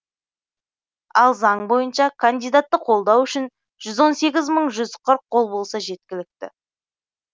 ал заң бойынша кандидатты қолдау үшін жүз он сегіз мың жүз қырық қол болса жеткілікті